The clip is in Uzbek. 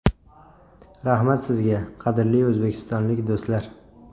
Rahmat sizga, qadrli o‘zbekistonlik do‘stlar!